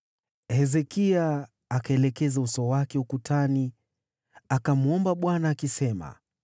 Hezekia akaelekeza uso wake ukutani, akamwomba Bwana :